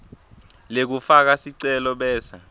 lekufaka sicelo bese